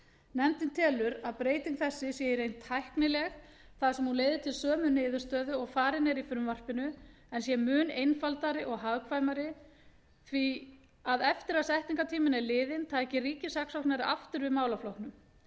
nefndin telur að breyting þessi sé í reynd tæknileg þar sem hún leiði til sömu niðurstöðu og farin er í frumvarpinu en sé mun einfaldari og hagkvæmari því að eftir að setningartíminn er liðinn tæki ríkissaksóknari aftur við málaflokknum